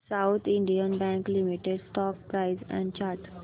south Indian bank limited stock price and chart